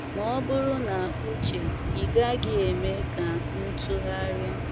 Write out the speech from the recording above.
Ma bụrụ na uche, ịgaghi eme kam ntụgharịa